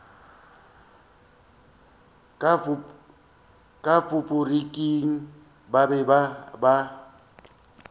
ka faporiking ba be ba